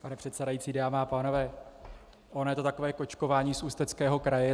Pane předsedající, dámy a pánové, ono je to takové kočkování z Ústeckého kraje.